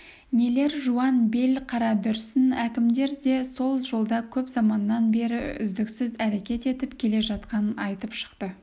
нелер жуан бел қарадүрсін әкімдер де сол жолда көп заманнан бері үздіксіз әрекет етіп келе жатқанын айтып шықты